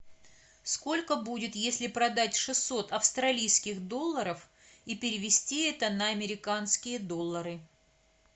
сколько будет если продать шестьсот австралийских долларов и перевести это на американские доллары